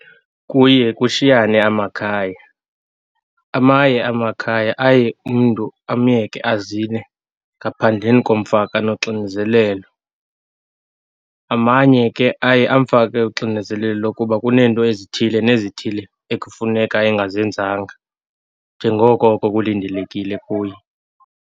Kuye kushiyane amakhaya. Amanye amakhaya aye umntu amyeke azile ngaphandleni komfaka noxinzelelo. Amanye ke aye amfake uxinezelelo lokuba kuneento ezithile nezithile ekufuneka engazenzanga, njengoko oko kulindelekile kuye.